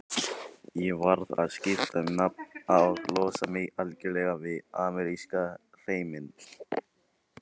Ég varð að skipta um nafn og losa mig algjörlega við ameríska hreiminn.